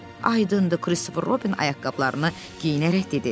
Ayındı Kristofer Robin ayaqqabılarını geyinərək dedi.